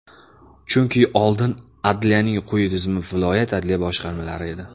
Chunki oldin adliyaning quyi tizimi viloyat adliya boshqarmalari edi.